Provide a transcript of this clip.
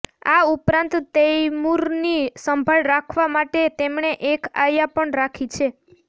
આ ઉપરાંત તૈમુરની સંભાળ રાખવા માટે તેમણે એક આયા પણ રાખી છે